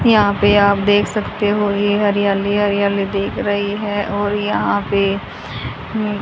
यहां पे आप देख सकते हो ये हरियाली हरियाली देख रही है और यहां पे--